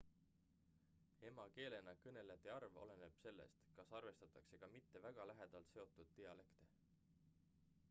emakeelena kõnelejate arv oleneb sellest kas arvestatakse ka mitte väga lähedalt seotud dialekte